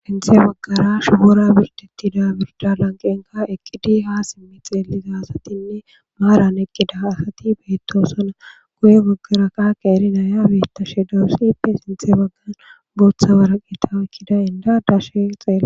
sinthe baggara shubora birdetida birda lanqenka eqqidi ha simmi xeeliza asatinne maaran eqqida asati beettosona guye goggara kaqa eri naya bettashe daassippe sinthe baggan booththa waraqeta ekkida inda dashe xelae